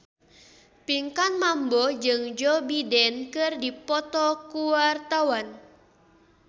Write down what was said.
Pinkan Mambo jeung Joe Biden keur dipoto ku wartawan